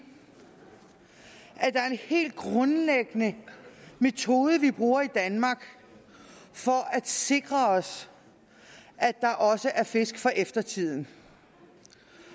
at der er en hel grundlæggende metode vi bruger i danmark for at sikre os at der også er fisk for eftertiden